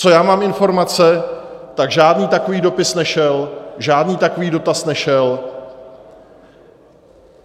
Co já mám informace, tak žádný takový dopis nešel, žádný takový dotaz nešel.